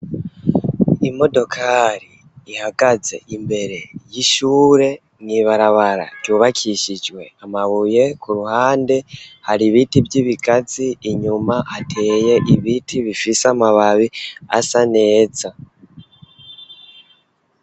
Imodokari ihagaze imbere y'ishure mw'ibarabara ryubakishijwe amabuye ku ruhande hari ibiti vy'ibigazi inyuma hateye ibiti bifise amababi asa neza.